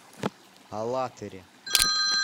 алатыре